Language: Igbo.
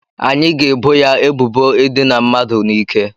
Anyị ga-ebo ya ebubo ịdịna mmadụ n'ike